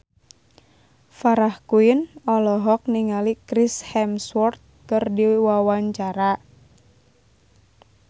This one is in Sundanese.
Farah Quinn olohok ningali Chris Hemsworth keur diwawancara